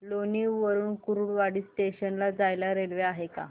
लोणी वरून कुर्डुवाडी जंक्शन ला जायला रेल्वे आहे का